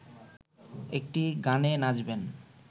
একটি গানে নাচবেন